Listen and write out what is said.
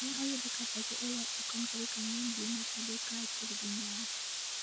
ne oyude ka pache olal e kom tarik ang'wen dwe mar adek kaachiel gi nyare